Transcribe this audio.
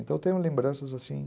Então, eu tenho lembranças assim.